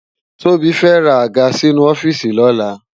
Tobi fè rá ágà sinú òfìsí lòlá